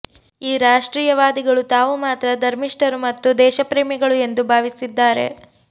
ಈ ರಾಷ್ಟ್ರೀಯವಾದಿಗಳು ತಾವು ಮಾತ್ರ ಧರ್ಮಿಷ್ಟರು ಮತ್ತು ದೇಶಪ್ರೇಮಿಗಳು ಎಂದು ಭಾವಿಸಿದ್ದಾರೆ